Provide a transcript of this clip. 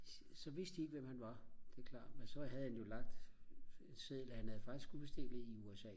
så vidste de ikke hvem han var det er klart men så havde han jo lagt siden han havde faktisk udstillet i USA